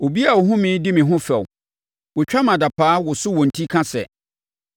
Obiara a ɔhunu me di me ho fɛw; wɔtwa me adapaa, woso wɔn ti ka sɛ: